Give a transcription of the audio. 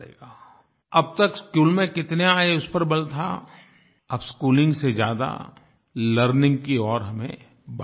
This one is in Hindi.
अब तक स्कूल में कितने आये उस पर बल था अब स्कूलिंग से ज़्यादा लर्निंग की ओर हमें बल देना होगा